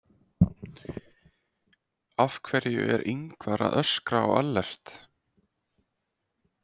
Af hverju er Ingvar að öskra á Ellert?